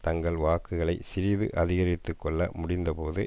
தங்கள் வாக்குகளை சிறிது அதிகரித்துக்கொள்ள முடிந்தபோது